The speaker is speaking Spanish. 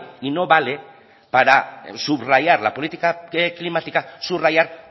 y no vale para subrayar la política climática subrayar